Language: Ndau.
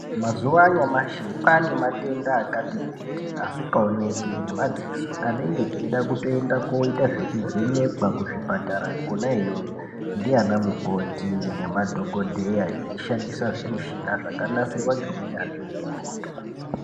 Mazuva anyamashi kwaane matenda akati kuti asikaoneki ngemadziso anenge eitoda koite zvekuvhenekwa kuzvipatara kona iyoyo ndiana mukoti nemadhokodheya veishandisa zvimushina zvakanasirwa ngeunyanzvi ukurutu.